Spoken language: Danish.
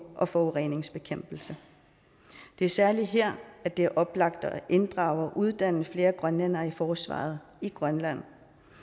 og forureningsbekæmpelse det er særlig her at det er oplagt at inddrage og uddanne flere grønlændere i forsvaret i grønland